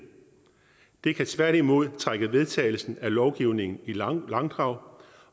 det kan tværtimod trække vedtagelsen af lovgivningen i langdrag